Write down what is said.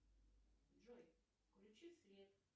джой включи свет